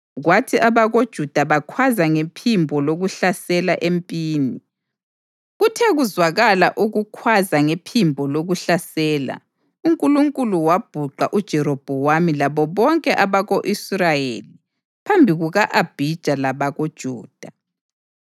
kwathi abakoJuda bakhwaza ngephimbo lokuhlasela empini. Kuthe kuzwakala ukukhwaza ngephimbo lokuhlasela, uNkulunkulu wabhuqa uJerobhowamu labo bonke abako-Israyeli phambi kuka-Abhija labakoJuda.